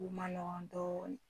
O ma nɔgɔn dɔɔnin